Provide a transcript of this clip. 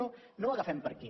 no no ho agafem per aquí